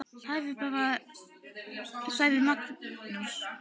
Hlæðu bara, sagði Magnús.